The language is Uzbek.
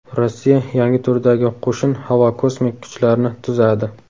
Rossiya yangi turdagi qo‘shin Havo-kosmik kuchlarni tuzadi.